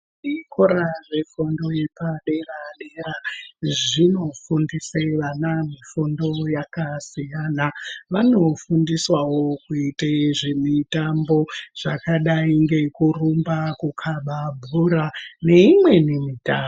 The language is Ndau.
Zvikora zvefundo yepadera-dera zvinofundise vana mifundo yakasiyana, vanofundiswawo zvemitambo zvakadai ngekurumba, kukhaba bhora neimweni mitambo.